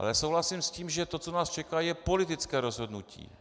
Ale souhlasím s tím, že to, co nás čeká, je politické rozhodnutí.